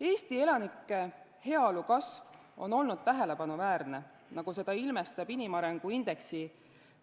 Eesti elanike heaolu kasv on olnud tähelepanuväärne, seda ilmestab kiire tõus inimarengu indeksi